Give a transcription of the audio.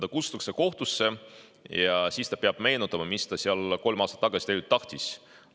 Ta kutsutakse kohtusse ja siis ta peab meenutama, mis ta seal kolm aastat tagasi tegelikult tahtis.